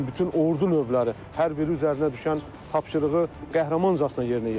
Bütün ordu növləri hər biri üzərinə düşən tapşırığı qəhrəmancasına yerinə yetirirdi.